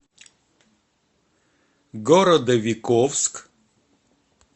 городовиковск